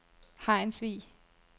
Hejnsvig